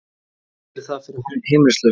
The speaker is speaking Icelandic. Hvað gerir það fyrir heimilislausa?